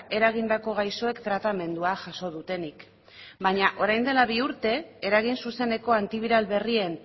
eragindako gaixoek tratamendua jaso dutenik baina orain dela bi urte eragin zuzeneko antibiral berrien